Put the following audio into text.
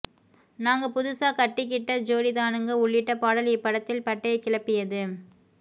நாங்க புதுசா கட்டிக்கிட்ட ஜோடிதானுங்க உள்ளிட்ட பாடல் இப்படத்தில் பட்டைய கிளப்பியது